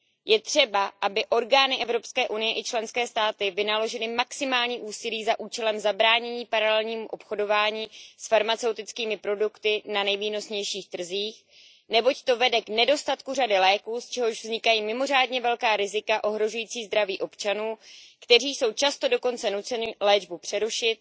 Je třeba, aby orgány Evropské unie i členské státy vynaložily maximální úsilí za účelem zabránění paralelnímu obchodování s farmaceutickými produkty na nejvýnosnějších trzích, neboť to vede k nedostatku řady léků, z čehož vznikají mimořádně velká rizika ohrožující zdraví občanů, kteří jsou často dokonce nuceni léčbu přerušit.